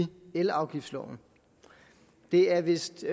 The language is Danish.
elafgiftsloven det er vist